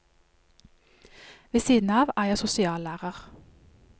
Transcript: Ved siden av er jeg sosiallærer.